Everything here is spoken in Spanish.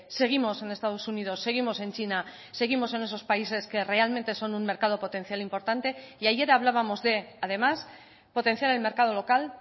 seguimos en estados unidos seguimos en china seguimos en esos países que realmente son un mercado potencial importante y ayer hablábamos de además potenciar el mercado local